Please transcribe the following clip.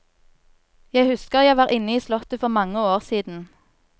Jeg husker jeg var inne i slottet for mange år siden.